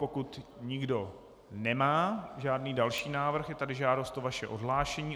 Pokud nikdo nemá žádný další návrh, je tady žádost o vaše odhlášení.